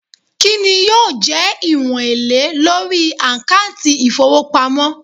Kinni yoo je iwon ele lori akanti ifowopamo